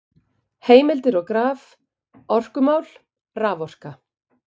Heimildir og graf: Orkumál- Raforka.